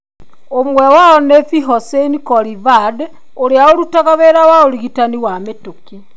Ũmwe wao nĩ Pirhossein Kolivand, ũrĩa ũrutaga wĩra wa ũrigitani wa mĩtũkĩ.